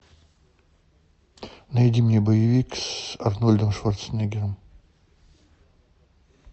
найди мне боевик с арнольдом шварценеггером